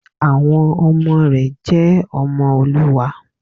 Àwọn ọmọ rẹ̀ jẹ́ ọmọ Olúwa